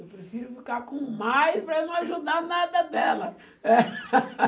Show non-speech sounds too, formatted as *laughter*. Eu prefiro ficar com mais para eu não ajudar nada dela. *laughs*